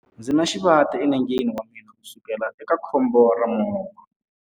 Ndzi na xivati enengeni wa mina kusukela eka khombo ra movha.